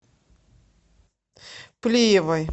плиевой